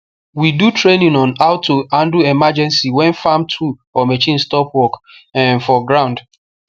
we do training on how to handle emergency when farm tool or machine stop work um for ground